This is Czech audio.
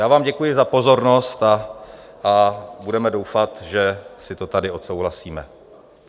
Já vám děkuji za pozornost a budeme doufat, že si to tady odsouhlasíme.